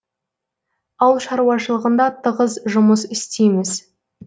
ауыл шаруашылығында тығыз жұмыс істейміз